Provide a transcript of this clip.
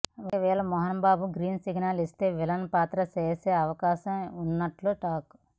ఒకవేళ Mohan Babu green signal ఇస్తే villain పాత్ర చేసే అవకాశం ఉన్నట్లు టాక్